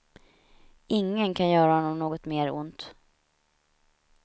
Ingen kan göra honom något mer ont.